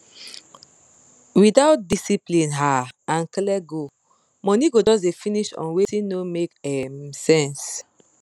without discipline um and clear goal money go just dey finish on wetin no make um sense